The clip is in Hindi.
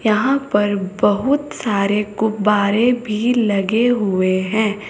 यहां पर बहुत सारे गुब्बारे भी लगे हुए हैं।